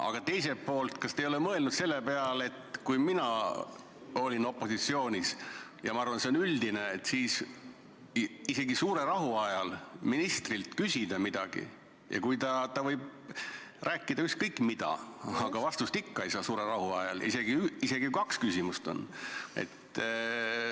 Aga teiselt poolt, kas te ei ole mõelnud selle peale – ma olen olnud opositsioonis ja ma arvan, et see on üldine –, et isegi kui suure rahu ajal ministrilt küsida midagi ja kui ta võib rääkida ükskõik mida, siis vastust ikka ei saa, isegi kui kaks küsimust on?